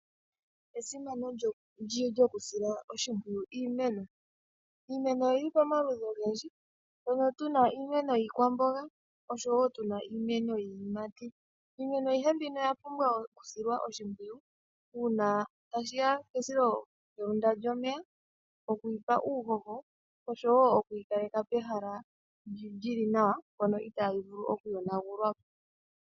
Esimano lyokusila oshimpwuyu iimeno. Iimeno oyili pomaludhi ogendji, mpono tuna iimeno yiikwamboga osho wo tuna iimeno yiiyimati. Iimeno ayihe mbino oya pumbwa okusilwa oshimpwuyu. Uuna tashiya kesilohenda lyomeya, okuyipa uuhoho osho wo okuyi kaleka pehala lyili nawa mpono itayi vulu okuyonagulwapo.